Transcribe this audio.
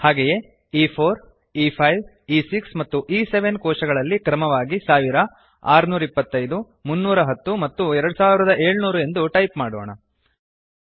ಹಾಗೆಯೇ e4e5ಇ6 ಮತ್ತು ಇ7 ಕೋಶಗಳಲ್ಲಿ ಕ್ರಮವಾಗಿ 1000625310 ಮತ್ತು 2700 ಎಂದು ಟೈಪ್ ಮಾಡೋಣ